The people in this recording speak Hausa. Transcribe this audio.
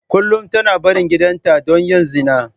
Kullum tana barin gidanta don yin zina.